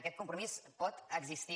aquest compromís pot existir